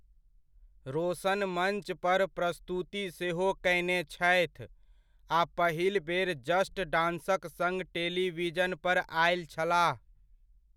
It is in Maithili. रोशन मञ्च पर प्रस्तुति सेहो कयने छथि आ पहिल बेर 'जस्ट डांस'क सङ्ग टेलीविजन पर आयल छलाह।